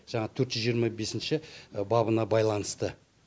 жаңағы төрт жүз жиырма бесінші бабына байланысты